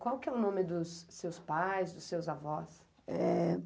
Qual que é o nome dos seus pais, dos seus avós? É